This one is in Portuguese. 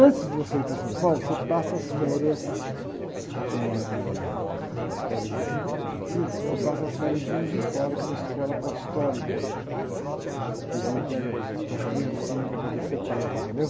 Antes de você ir para São Paulo, você passa as férias, eh, as férias letivas, você passa as férias em Juiz de Fora, que é uma escola apostólica, que vem e pega as criancinhas para poder ser padre, entendeu?